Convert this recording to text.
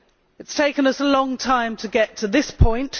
It has taken us a long time to get to this point.